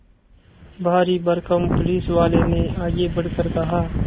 भारीभरकम पुलिसवाले ने आगे बढ़कर कहा